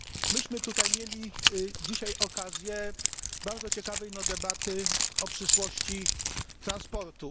Myśmy tutaj mieli dzisiaj okazję bardzo ciekawej debaty o przyszłości transportu.